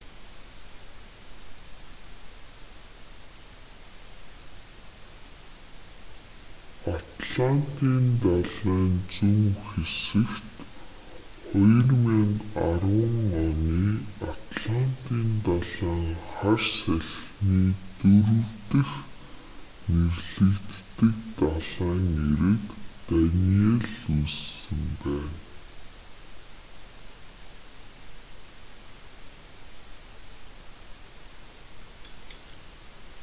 атлантын далайн зүүн хэсэгт 2010 оны атлантын далайн хар салхины дөрөв дэх нэрлэгддэг далайн эрэг даниелл үүссэн байна